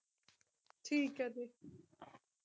ਠੀਕ ਹੈ ਜੀ